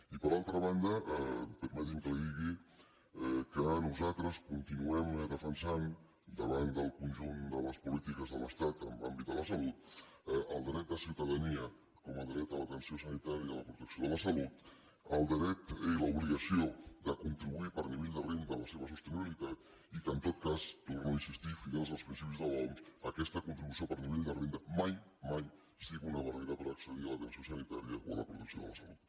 i per altra banda permeti’m que li digui que nosaltres continuem defensant davant del conjunt de les polítiques de l’estat en l’àmbit de la salut el dret de ciutadania com a dret a l’atenció sanitària de la protecció de la salut el dret i l’obligació de contribuir per nivell de renda a la seva sostenibilitat i que en tot cas hi torno a insistir fidels als principis de l’oms aquesta contribució per nivell de renda mai mai sigui una barrera per accedir a l’atenció sanitària o a la protecció de la salut